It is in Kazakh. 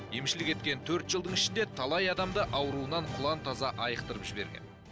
емшілік еткен төрт жылдың ішінде талай адамды ауруынан құлан таза айықтырып жіберген